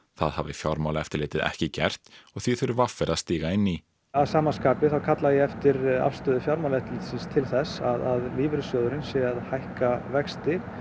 það hafi Fjármálaeftirlitið ekki gert og því þurfi v r að stíga inn í að sama skapi kalla ég eftir afstöðu Fjármálaeftirlitsins til þess að lífeyrissjóðurinn sé að hækka vexti